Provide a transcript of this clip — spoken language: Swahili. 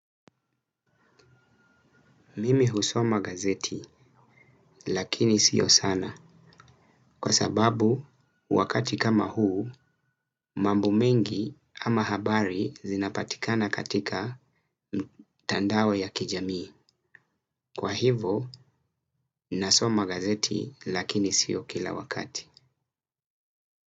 Mimi husoma gazeti, lakini sio sana, kwa sababu wakati kama huu mambo mengi ama habari zinapatikana katika mtandao ya kijamii. Kwa hivo, nasoma gazeti lakini sio kila wakati.